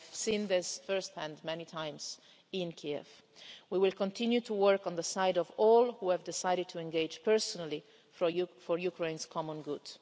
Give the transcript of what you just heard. I've seen this first hand many times in Kiev. We will continue to work on the side of all those who have decided to engage personally for Ukraine's common good.